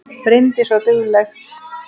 Bryndís var dugleg.